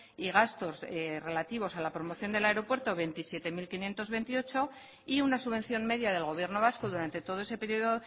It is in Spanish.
y gastos relativos a la promoción del aeropuerto veintisiete mil quinientos veintiocho y una subvención media del gobierno vasco durante todo ese periodo